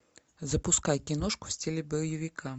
запускай киношку в стиле боевика